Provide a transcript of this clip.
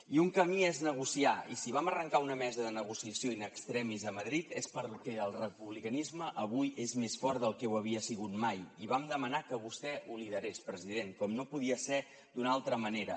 i un camí és negociar i si vam arrencar una mesa de negociació in extremis a madrid és perquè el republicanisme avui és més fort del que ho havia sigut mai i vam demanar que vostè ho liderés president com no podia ser d’una altra manera